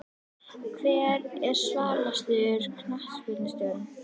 Hver er svalasti knattspyrnustjórinn?